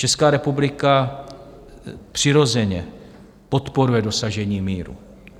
Česká republika přirozeně podporuje dosažení míru.